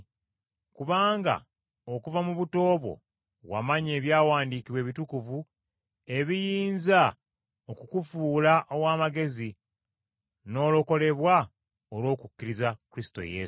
Kubanga okuva mu buto bwo wamanya Ebyawandiikibwa Ebitukuvu ebiyinza okukufuula ow’amagezi, n’olokolebwa olw’okukkiriza Kristo Yesu.